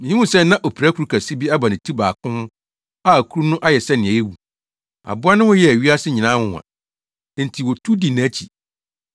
Mihuu sɛ na opirakuru kɛse bi aba ne ti baako ho a kuru no ayɛ sɛ nea awu. Aboa no ho yɛɛ wiasefo nyinaa nwonwa, enti wotu dii nʼakyi.